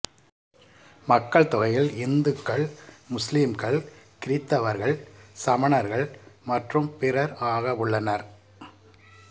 மக்கள்தொகையில் இந்துக்கள் முஸ்லீம்கள் கிறித்தவர்கள் சமணர்கள் மற்றும் பிறர் ஆகவுள்ளனர்